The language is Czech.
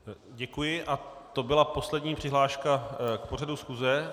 Děkuji a to byla poslední přihláška k pořadu schůze.